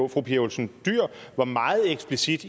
fru pia olsen dyhr var meget eksplicit